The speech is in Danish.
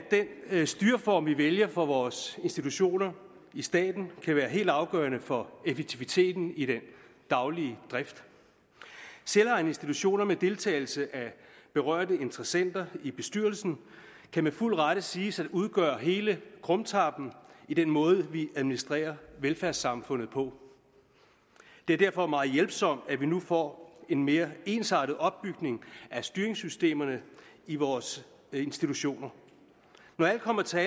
den styreform vi vælger for vores institutioner i staten kan være helt afgørende for effektiviteten i den daglige drift selvejende institutioner med deltagelse af berørte interessenter i bestyrelsen kan med fuld ret siges at udgøre hele krumtappen i den måde vi administrerer velfærdssamfundet på det er derfor meget hjælpsomt at vi nu får en mere ensartet opbygning af styringssystemerne i vores institutioner når alt kommer til